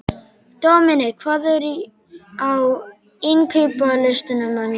Dominik, hvað er á innkaupalistanum mínum?